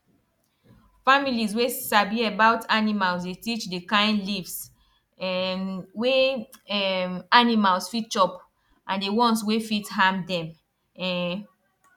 families wey sabi about animals dey teach d kain leaves um wey um animals fit chop and the ones wey fit harm dem um